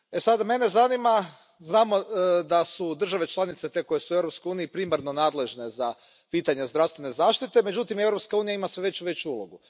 Sada, mene zanima, znamo da su države članice te koje su u Europskoj uniji primarno nadležne za pitanja zdravstvene zaštite, međutim, Europska unija ima sve veću i veću ulogu.